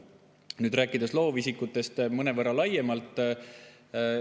Nüüd loovisikutest mõnevõrra laiemalt.